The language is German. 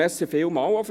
vielen Dank dafür.